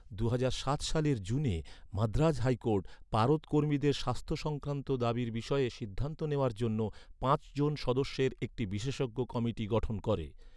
দুহাজার সাত সালের জুনে মাদ্রাজ হাইকোর্ট, পারদ কর্মীদের স্বাস্থ্য সংক্রান্ত দাবির বিষয়ে সিদ্ধান্ত নেওয়ার জন্য, পাঁচ জন সদস্যের একটি বিশেষজ্ঞ কমিটি গঠন করে।